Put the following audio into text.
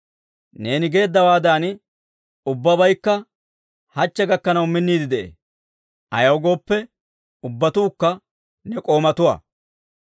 Neeni geeddawaadan ubbabaykka hachchi gakkanaw minniide de'ee; ayaw gooppe, ubbatuukka ne k'oomatuwaa.